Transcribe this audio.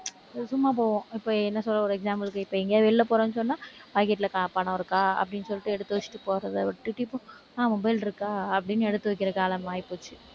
சும்மா போவோம். இப்ப என்ன சொல்றது ஒரு example க்கு இப்ப எங்கயாவது வெளியில போறோம்னு சொன்னா pocket ல க~ பணம் இருக்கா அப்படின்னு சொல்லிட்டு எடுத்து வச்சுட்டு போறதை விட்டுட்டு இப்ப ஆஹ் mobile இருக்கா அப்படின்னு எடுத்து வைக்கிற காலம் ஆகிப்போச்சு.